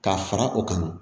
Ka fara o kan